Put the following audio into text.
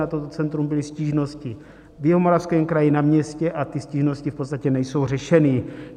Na toto centrum byly stížnosti v Jihomoravském kraji na městě a ty stížnosti v podstatě nejsou řešeny.